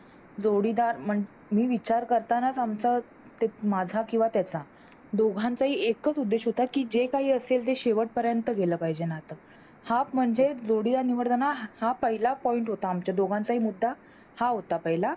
जोडीदार, मी विचार करताना आमचा ते माझ्या किंवा त्याचा दोघांचाही एकच उद्देश होता की जे काही असेल ते शेवटपर्यंत गेल पाहिजे नात हां म्हणजे जोडीदार निवडताना हा पहिला Point होता आमच्या दोघांचाही मुद्दा हा होता पहिला